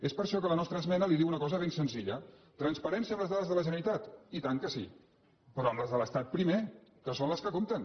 és per això que la nostra esmena li diu una cosa ben senzilla transparència en les dades de la generalitat i tant que sí però amb les de l’estat primer que són les que compten